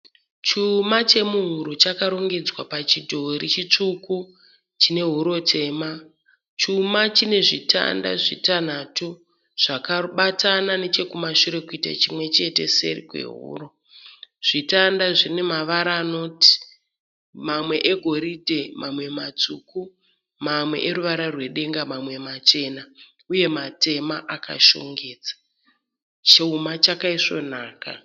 Chuma chemuhuro chakarongedzwa pachidhori chitsvuku chinehuro tema. Chuma chinezvitanda zvitanhatu zvakabatana nechekumashure kuita chimwe chete kuseri kwehuro. Zvitanda zvinemavara anoti, mamwe egoridhe, mamwe matsvuku, mamwe eruvara rwedenga, mamwe machena uye matema akashongedza. Chuma chakaisvonaka.